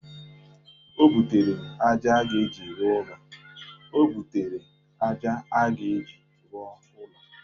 O butere aja a ga-eji rụọ ụlọ.